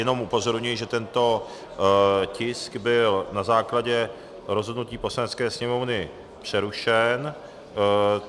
Jenom upozorňuji, že tento tisk byl na základě rozhodnutí Poslanecké sněmovny přerušen.